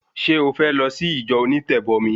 Ṣé o fẹ́ lọ sí ìjọ onítẹ̀bọmi?